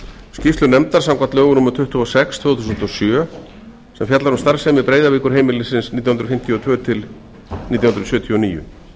skýrslu nefndar samkvæmt lögum númer tuttugu og sex tvö þúsund og sjö sem fjallar um starfsemi breiðavíkurheimilisins nítján hundruð fimmtíu og tvö til nítján hundruð sjötíu og níu